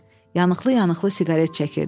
Yanıqlı-yanıqlı siqaret çəkirdi.